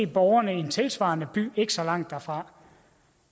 borgerne i en tilsvarende by ikke så langt derfra